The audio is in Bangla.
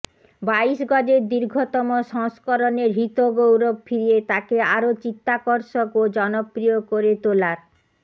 বাইশ গজের দীর্ঘতম সংস্করণের হৃতগৌরব ফিরিয়ে তাকে আরও চিত্তাকর্ষক ও জনপ্রিয় করে তোলার